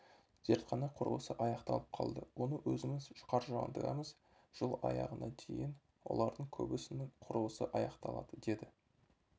зертхана құрылысы аяқталып қалды оны өзіміз қаржыландырамыз жыл аяғына дейін олардың көбісінің құрылысы аяқталады деді